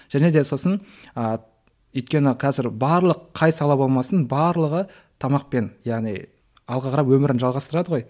және де сосын ы өйткені қазір барлық қай сала болмасын барлығы тамақпен яғни алға қарап өмірін жалғастырады ғой